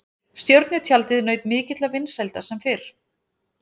Stjörnutjaldið naut mikilla vinsælda sem fyrr.